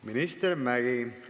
Minister Mäggi!